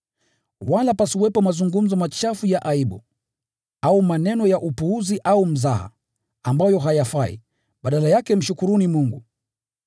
Wala pasiwepo mazungumzo machafu ya aibu, au maneno ya upuzi au mzaha, ambayo hayafai, badala yake mshukuruni Mungu.